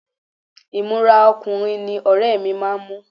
Ìmúra ọkùnrin ní ọ̀rẹ́ mi máa ń mú